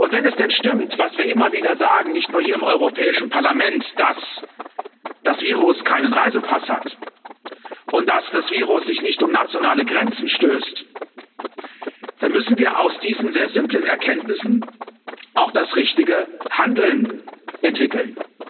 Wenn es denn stimmt, was wir immer wieder sagen, nicht nur hier im Europäischen Parlament, dass das Virus keinen Reisepass hat und dass das Virus sich nicht um nationale Grenzen schert, dann müssen wir aus diesen sehr simplen Erkenntnissen auch das richtige Handeln entwickeln.